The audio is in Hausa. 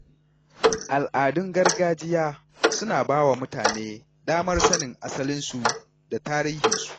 Al’adun gargajiya suna ba wa mutane damar sanin asalinsu da tarihinsu.